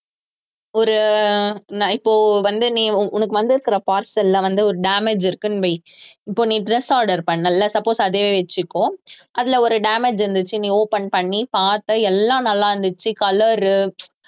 ஒரு நான் இப்போ வந்து நீ உனக்~ உனக்கு வந்திருக்கிற parcel ல வந்து ஒரு damage இருக்குன்னு வை இப்போ நீ dress order பண்ணல்ல suppose அதையே வச்சுக்கோ அதுல ஒரு damage இருந்துச்சு நீ open பண்ணி பார்த்த எல்லாம் நல்லா இருந்துச்சு color உ